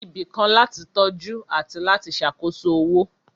Ibì kan láti tọ́jú àti láti ṣàkóso owó